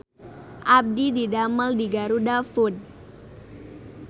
Abdi didamel di GarudaFood